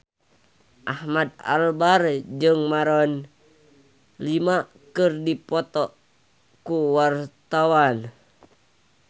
Ahmad Albar jeung Maroon 5 keur dipoto ku wartawan